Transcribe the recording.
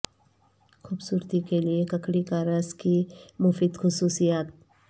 خوبصورتی کے لئے ککڑی کا رس کی مفید خصوصیات